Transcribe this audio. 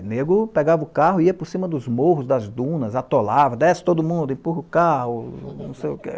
Nego pegava o carro, ia por cima dos morros, das dunas, atolava, desce todo mundo, empurra o carro. Não sei o que